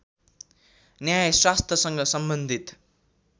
न्यायशास्त्रसँग सम्बन्धित